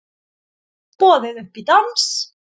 Boðið upp í dans